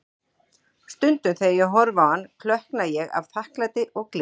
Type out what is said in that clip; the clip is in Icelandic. Stundum þegar ég horfi á hann, klökkna ég af þakklæti og gleði.